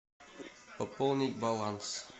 пополнить баланс